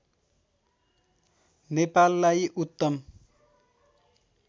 नेपाललाई उत्तम